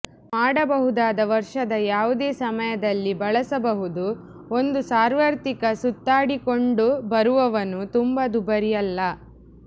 ಮಾಡಬಹುದಾದ ವರ್ಷದ ಯಾವುದೇ ಸಮಯದಲ್ಲಿ ಬಳಸಬಹುದು ಒಂದು ಸಾರ್ವತ್ರಿಕ ಸುತ್ತಾಡಿಕೊಂಡುಬರುವವನು ತುಂಬಾ ದುಬಾರಿ ಅಲ್ಲ